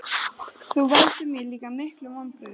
Þú veldur mér líka miklum vonbrigðum.